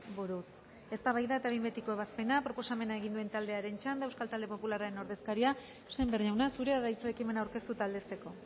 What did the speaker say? buruz eztabaida eta behin betiko ebazpena proposamena egin duen taldearen txanda euskal talde popularraren ordezkaria sémper jauna zurea da hitza ekimena aurkeztu eta aldezteko